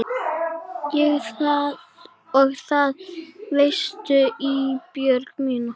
Og það veistu Ísbjörg mín.